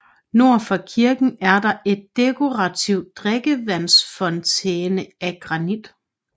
Nord for kirken er der et dekorativt drikkevandsfontæne af granit